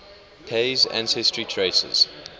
pei's ancestry traces